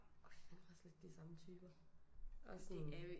Og fandme også lidt de samme typer